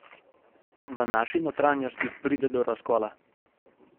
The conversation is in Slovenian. V naši notranjosti pride do razkola.